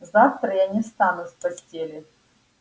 завтра я не встану с постели